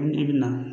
Ni i bi na